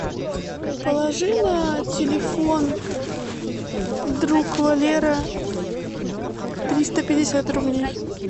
положи на телефон друг валера триста пятьдесят рублей